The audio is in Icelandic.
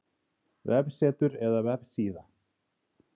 Vefsetur eða vefsíða?